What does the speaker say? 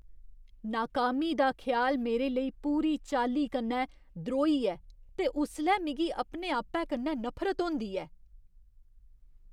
नाकामी दा ख्याल मेरे लेई पूरी चाल्ली कन्नै द्रोही ऐ ते उसलै मिगी अपने आपै कन्नै नफरत होंदी ऐ।